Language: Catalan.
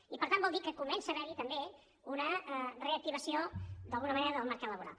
i per tant vol dir que comença a haverhi també una reactivació d’alguna manera del mercat laboral